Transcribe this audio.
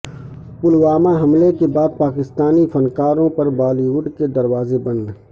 پلوامہ حملے کے بعد پاکستانی فن کاروں پر بالی وڈ کے دروازے بند